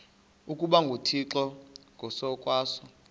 ukuba nguthixo ngokwaso